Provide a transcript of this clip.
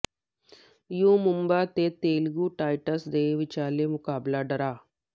you Mumba ਅਤੇ Telugu titans ਦੇ ਵਿਚਾਲੇ ਮੁਕਾਬਲਾ ਡਰਾਅ